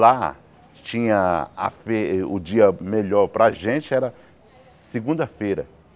Lá tinha... A fe o dia melhor para a gente era segunda-feira.